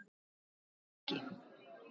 Bjarki